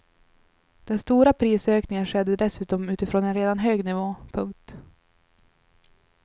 Den stora prisökningen skedde dessutom utifrån en redan hög nivå. punkt